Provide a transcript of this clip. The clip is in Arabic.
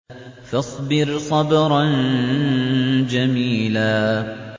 فَاصْبِرْ صَبْرًا جَمِيلًا